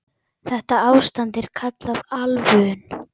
Þetta ástand er kallað ölvun.